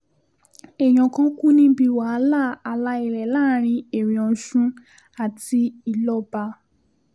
èèyàn kan kú níbi wàhálà ààlà ilẹ̀ láàrin erin-osun àti ilọ́ba